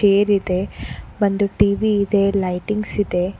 Tear ಇದೆ ಒಂದು TV ಇದೆ ಲೈಟಿಂಗ್ಸ್ ಇದೆ.